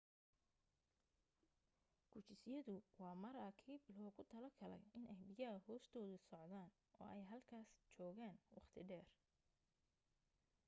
gujisyadu waa maraakiib loogu talo galay inay biyaha hoostooda socdaan oo ay halkaas joogaan waqti dheer